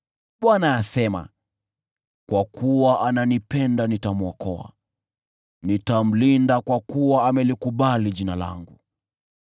Bwana asema, “Kwa kuwa ananipenda, nitamwokoa; nitamlinda, kwa kuwa analikiri Jina langu.